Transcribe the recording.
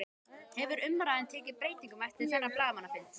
Hefur umræðan tekið breytingum eftir þennan blaðamannafund?